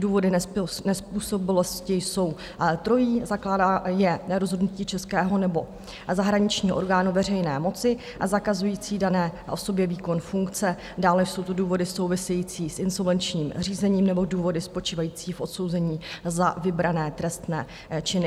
Důvody nezpůsobilosti jsou trojí: zakládá je rozhodnutí českého nebo zahraničního orgánu veřejné moci, zakazující dané osobě výkon funkce, dále jsou to důvody související s insolvenčním řízením nebo důvody spočívající v odsouzení za vybrané trestné činy.